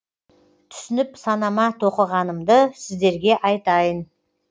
түсініп санама тоқығанымды сіздерге айтайын